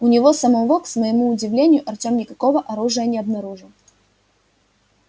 у него самого к своему удивлению артём никакого оружия не обнаружил